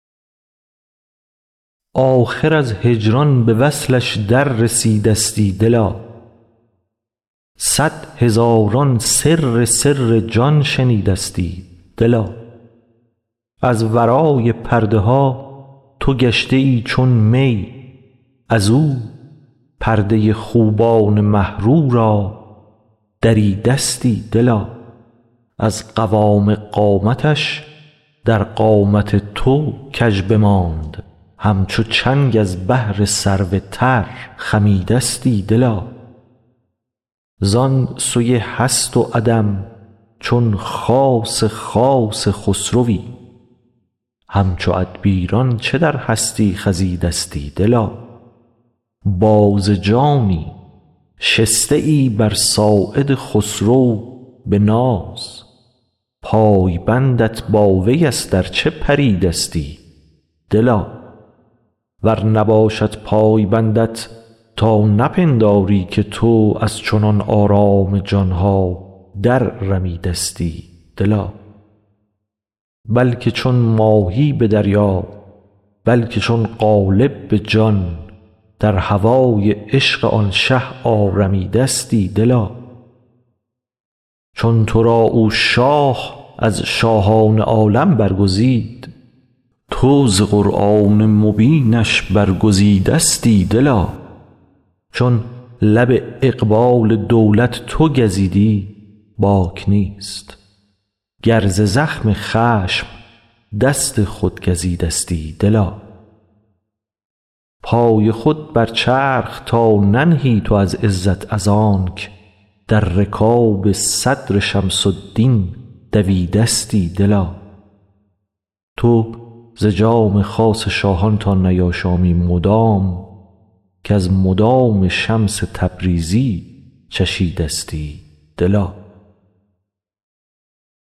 آخر از هجران به وصلش دررسیدستی دلا صد هزاران سر سر جان شنیدستی دلا از ورای پرده ها تو گشته ای چون می از او پرده ی خوبان مه رو را دریدستی دلا از قوام قامتش در قامت تو کژ بماند همچو چنگ از بهر سرو تر خمیدستی دلا ز آن سوی هست و عدم چون خاص خاص خسروی همچو ادبیران چه در هستی خزیدستی دلا باز جانی شسته ای بر ساعد خسرو به ناز پای بندت با وی است ار چه پریدستی دلا ور نباشد پای بندت تا نپنداری که تو از چنان آرام جان ها دررمیدستی دلا بلک چون ماهی به دریا بلک چون قالب به جان در هوای عشق آن شه آرمیدستی دلا چون تو را او شاه از شاهان عالم برگزید تو ز قرآن گزینش برگزیدستی دلا چون لب اقبال دولت تو گزیدی باک نیست گر ز زخم خشم دست خود گزیدستی دلا پای خود بر چرخ تا ننهی تو از عزت از آنک در رکاب صدر شمس الدین دویدستی دلا تو ز جام خاص شاهان تا نیاشامی مدام کز مدام شمس تبریزی چشیدستی دلا